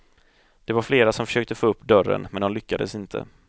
Det var flera som försökte få upp dörren men de lyckades inte.